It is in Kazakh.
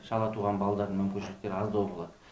шала туылған балалардың мүмкіншіліктері аздау болады